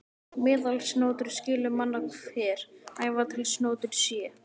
Meðalsnotur skyli manna hver, æva til snotur sé.